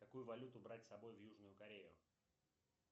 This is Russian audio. какую валюту брать с собой в южную корею